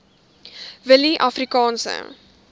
willieafrikaanse